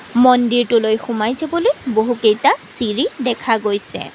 মন্দিৰটোলৈ সোমাই যাবলৈ বহুকেইটা চিৰি দেখা গৈছে।